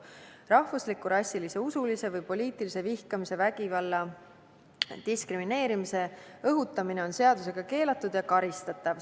Rahvusliku, rassilise, usulise või poliitilise vihkamise, vägivalla ja diskrimineerimise õhutamine on seadusega keelatud ja karistatav.